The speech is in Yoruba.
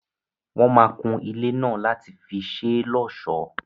Wọ́n máa kun ilé náà láti fi ṣé l'ọ́sọ̀.